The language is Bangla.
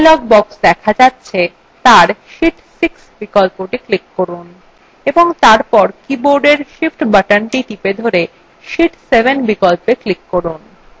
যে dialog box দেখা যাচ্ছে তার sheet 6 বিকল্পটি click করুন এবং তারপর বোর্ডের উপরে অবস্থিত shift বাটনটি চেপে ধরে sheet 7 বিকল্পে এ click করুন